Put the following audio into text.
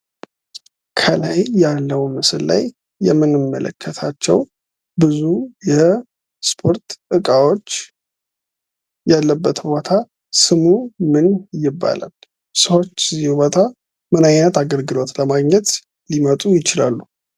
ከላይ ያለው ምስል ላይ የምንመለከታቸው ብዙ የስፖርት እቃዎች ያሉበት ቦታ ስሙ ምን ይባላል? ሰሰዎች እዚህ ቦታ ምን አይነት አገልግሎት ለማግኘት ይመጣሉ?